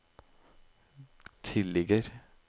tilligger